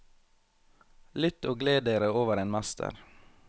Lytt og gled dere over en mester.